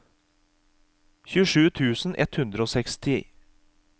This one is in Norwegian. tjuesju tusen ett hundre og seksti